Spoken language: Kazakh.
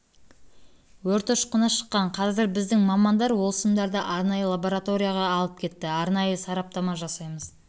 өрт ұшқыны шыққан қазір біздің мамандар ол сымдарды арнайы лабороторияға алып кетті арнайы сараптама жасаймыз